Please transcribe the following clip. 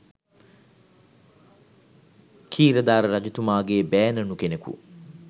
ඛීරධාර රජතුමාගේ බෑණනු කෙනෙකු